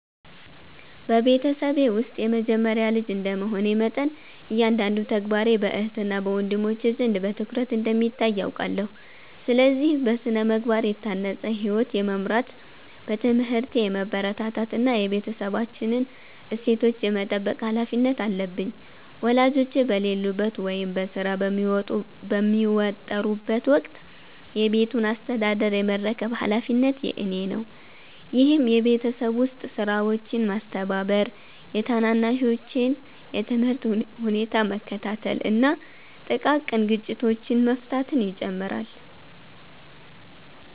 በቤተሰቤ ውስጥ የመጀመሪያ ልጅ እንደ መሆኔ መጠን፤ እያንዳንዱ ተግባሬ በእህትና ወንድሞቼ ዘንድ በትኩረት እንደሚታይ አውቃለሁ። ስለዚህ: በሥነ-ምግባር የታነጸ ሕይወት የመምራት፣ በትምህርቴ የመበርታት እና የቤተሰባችንን እሴቶች የመጠበቅ ኃላፊነት አለብኝ። ወላጆቼ በሌሉበት ወይም በሥራ በሚወጠሩበት ወቅት የቤቱን አስተዳደር የመረከብ ኃላፊነት የእኔ ነው፤ ይህም የቤት ውስጥ ሥራዎችን ማስተባበር፤ የታናናሾቼን የትምህርት ሁኔታ መከታተል እና ጥቃቅን ግጭቶችን መፍታትን ይጨምራል።